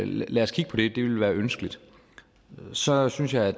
lad os kigge på det det vil være ønskeligt så synes jeg at